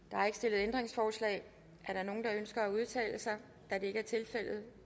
ændringsforslag er der nogen der ønsker at udtale sig da det ikke er tilfældet